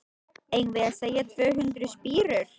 Eigum við að segja tvö hundruð spírur?